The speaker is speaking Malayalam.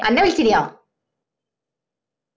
അന്ന വിളിച്ചിനോ